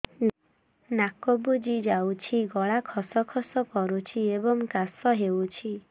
ନାକ ବୁଜି ଯାଉଛି ଗଳା ଖସ ଖସ କରୁଛି ଏବଂ କାଶ ହେଉଛି